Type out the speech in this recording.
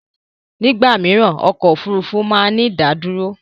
Ní ìgbà mìíràn ọkọ̀ Òfurufú máa ń ní ìdádúró.